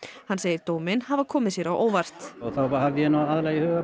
hann segir dóminn hafa komið sér á óvart þá hafði ég nú aðallega í huga